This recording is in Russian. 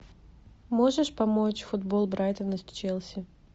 можешь помочь футбол брайтона с челси